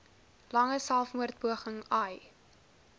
lange selfmoordpoging ai